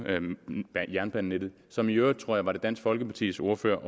jernbanenettet som i øvrigt tror det var dansk folkepartis ordfører